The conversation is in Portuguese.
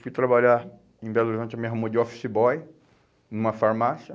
Fui trabalhar em Belo Horizonte, me arrumou de office boy, numa farmácia.